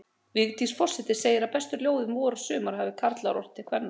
Vigdís forseti segir að bestu ljóð um vor og sumar hafi karlar ort til kvenna.